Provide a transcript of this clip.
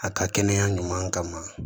A ka kɛnɛya ɲuman kama